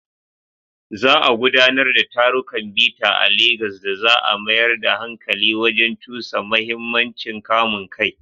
Za a gudanar da tarukan bita a Legas da za a mayar da hankali wajen cusa muhimmancin kamun kai.